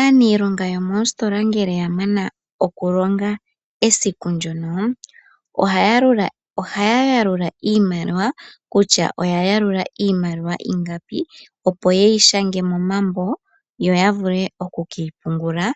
Aaniilonga yomoositola ngele ya mana okulonga esiku ndyono, ohaya yalula iimaliwa kutya oya longa iimaliwa ingapi, opo ye yi shange momambo yo ya vule oku ke yi pungula